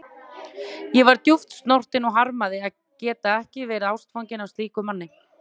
Ég var djúpt snortin og harmaði að geta ekki verið ástfangin af slíkum manni.